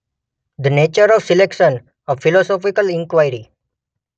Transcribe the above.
The nature of selection: a philosophical inquiry.